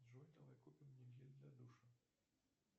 джой давай купим мне гель для душа